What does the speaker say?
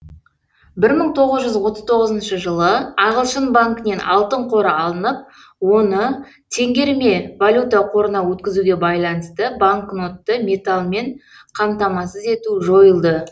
бір мың тоғыз жүз отыз тоғызыншы жылы ағылшын банкінен алтын қоры алынып оны теңгерме валюта қорына өткізуге байланысты банкнотты металлмен қамтамасыз ету жойылды